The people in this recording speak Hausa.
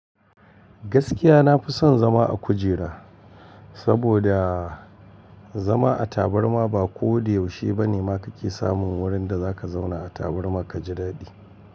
Gaskiya nafi son zama a kujera, saboda zama a tabarma ba ko da yaushe bane ma kake samun wurin da zaka zauna a tabarma ka jidaɗi.